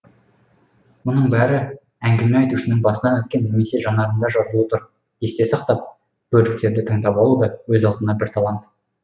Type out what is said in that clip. мұның бәрі әңгіме айтушының басынан өткен немесе жанарында жазулы тұр есте сақтап бөліктерді таңдап алу да өз алдына бір талант